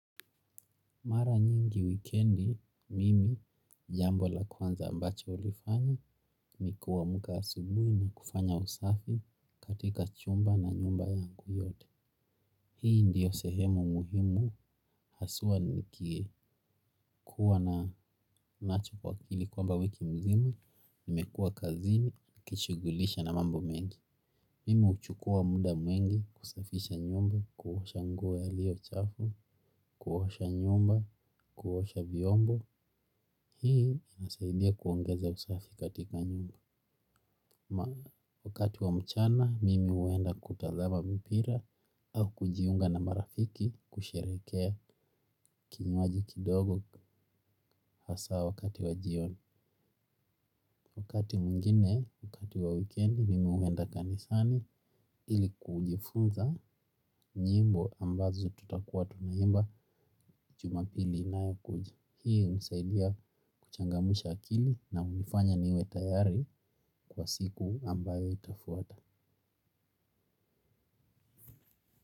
Mara nyingi wikendi, mimi jambo la kwanza ambacho hulifanya ni kuamka asubuhi na kufanya usafi katika chumba na nyumba yangu yote. Hii ndio sehemu muhimu haswa nikikuwa na nacho kwa akili kwamba wiki mzima, nimekua kazini, kishughulisha na mambo mengi. Mimi huchukua muda mwingi kusafisha nyumba, kuosha nguo ilio chafu, kuosha nyumba, kuosha viombo, hii inasaidia kuongeza usafi katika nyumba. Wakati wa mchana, mimi huenda kutazama mpira au kujiunga na marafiki kusherehekea kinyuaji kidogo hasa wakati wa jioni. Wakati mwingine, wakati wa wikendi, mimi huwenda kanisani ili kujifunza nyimbo ambazo tutakuwa tunaimba juma pili inayokuja. Hii hunisaidia kuchangamsha akili na hunifanya niwe tayari kwa siku ambayo itafuata.